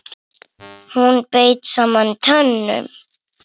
Hún beit saman tönnum.